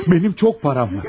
Mənim çox param var.